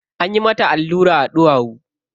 Anyi mata allura a ɗuwawu.